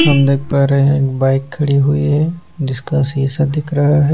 हम देख पा रहे हैं एक बाइक खड़ी हुई है जिसका सीसा दिख रहा है।